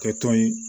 Kɛ tɔn ye